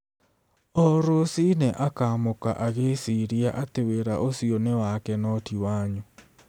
O rũcinĩ akaamũka agĩĩciria atĩ wĩra ũcio nĩ wake no ti wanyu.